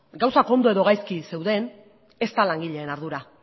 gauzak ondo edo gaizki zeuden ez da langileen ardura